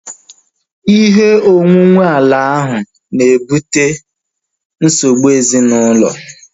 Ihe onwunwe ala ahu na-ebute nsogbu ezinaụlọ